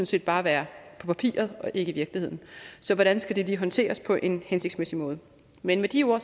set bare være på papiret og ikke i virkeligheden så hvordan skal det lige håndteres på en hensigtsmæssig måde men med de ord